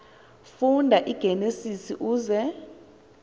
funda igenesis uze